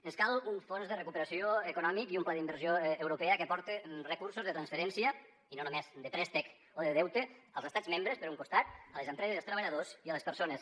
ens cal un fons de recuperació econòmic i un pla d’inversió europea que aporte recursos de transferència i no només de préstec o de deute als estats membres per un costat a les empreses i els treballadors i a les persones